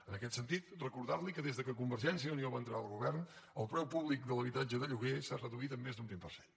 en aquest sentit recordar li que des que convergència i unió va entrar al govern el preu públic de l’habitatge de lloguer s’ha reduït en més d’un vint per cent